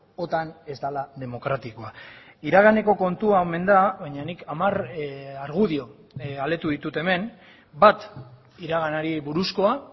otan ez dela demokratikoa iraganeko kontua omen da baina nik hamar argudio aletu ditut hemen bat iraganari buruzkoa